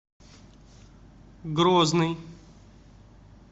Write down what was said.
грозный